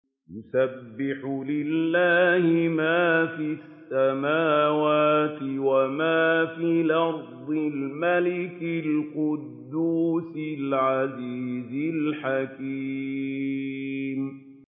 يُسَبِّحُ لِلَّهِ مَا فِي السَّمَاوَاتِ وَمَا فِي الْأَرْضِ الْمَلِكِ الْقُدُّوسِ الْعَزِيزِ الْحَكِيمِ